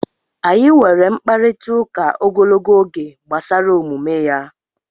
Anyị nwere mkparịtaụka ogologo oge gbasara omume ya.